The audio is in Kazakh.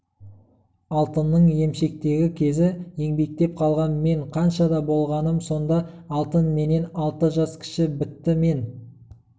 алтынның емшектегі кезі еңбектеп қалған мен қаншада болғаным сонда алтын менен алты жас кіші бітті мен